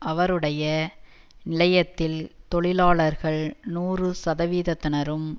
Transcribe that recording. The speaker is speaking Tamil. அவருடைய நிலையத்தில் தொழிலாளர்கள் நூறு சதவிகிதத்தினரும்